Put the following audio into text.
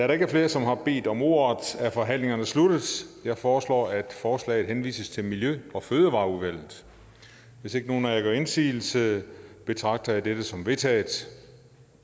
der ikke er flere som har bedt om ordet er forhandlingen sluttet jeg foreslår at forslaget henvises til miljø og fødevareudvalget hvis ikke nogen af jer gør indsigelse betragter jeg dette som vedtaget